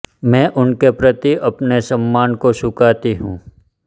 मैं उनके प्रति अपने सम्मान को चुकाती हूँ